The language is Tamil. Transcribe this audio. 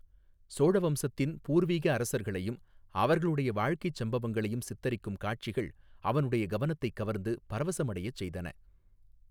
சோழ வம்சத்தின் பூர்வீக அரசர்களையும் அவர்களுடைய வாழ்க்கைச் சம்பவங்களையும் சித்தரிக்கும் காட்சிகள் அவனுடைய கவனத்தைக் கவர்ந்து பரவசமடையச் செய்தன.